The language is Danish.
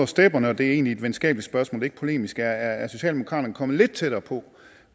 stepperne og det er egentlig et venskabeligt spørgsmål ikke polemisk er socialdemokratiet kommet lidt tættere på